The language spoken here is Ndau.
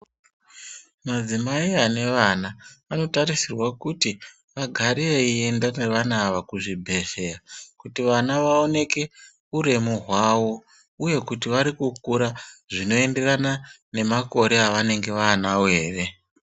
Madzimai anevana vanotarisirwa kuti vagare vaienda nevana ava kuzvibhedhleya kuti vana vaoneke uremu hwavo, uye kuti varikukura zvinoenderana nemakore avanenge vaanavo ere.